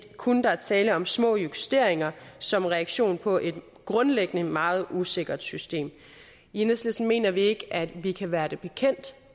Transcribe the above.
kun er tale om små justeringer som en reaktion på et grundlæggende meget usikkert system i enhedslisten mener vi ikke at vi kan være det bekendt